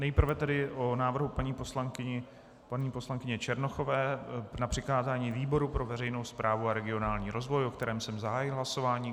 Nejprve tedy o návrhu paní poslankyně Černochové na přikázání výboru pro veřejnou správu a regionální rozvoj, o kterém jsem zahájil hlasování.